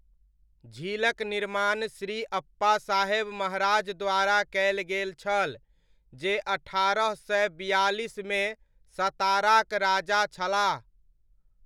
झीलक निर्माण श्री अप्पासाहेब महाराज द्वारा कयल गेल छल, जे अट्ठारह सय बियालिसमे सताराक राजा छलाह।